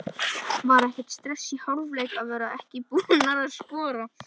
Var ekkert stress í hálfleik að vera ekki búnar að skora?